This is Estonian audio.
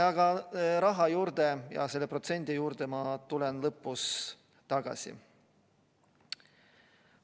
Aga raha ja selle protsendi juurde ma tulen kõne lõpus tagasi.